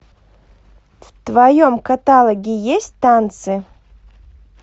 в твоем каталоге есть танцы